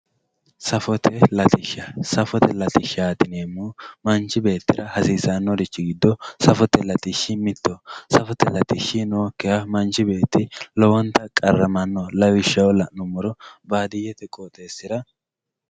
Safote latishsha safote latishsha yinemowoyite manchi beetira hasisanori giddo safote latishshi mittoho safote latishi nookiha manchi beeti lowonta qaramano lawishshaho lanumoro baadiyete qooxesira.